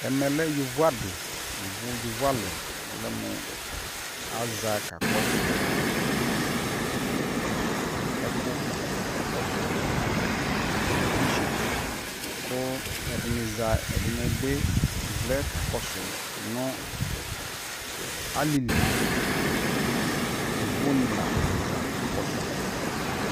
ɛmɛ lɛ yɔvɔ adi, yɔvɔ ali kʋ ɔlɛmʋ aza kakɔsʋ ɛkʋ, aka kɔsʋ television kʋ ɛdini za ɛdini bi vlɛ kakɔsʋ nʋ alili yɔvɔ ni la za kakɔsʋ